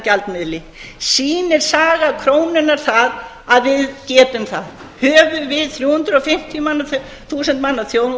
gjaldmiðli sýnir saga krónunnar það að við getum það höfum við þrjú hundruð og tuttugu þúsund manna þjóð